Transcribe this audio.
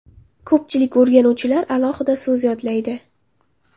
Ko‘pchilik o‘rganuvchilar alohida so‘z yodlaydi.